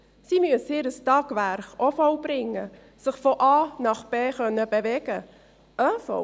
Sie müssen ihr Tagwerk auch vollbringen und sich von A nach B bewegen können.